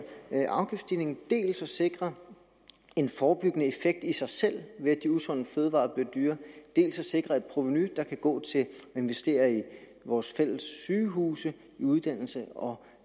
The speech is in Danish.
afgiftsstigning dels at sikre en forebyggende effekt i sig selv ved at de usunde fødevarer bliver dyrere dels at sikre et provenu der kan gå til at investere i vores fælles sygehuse i uddannelse og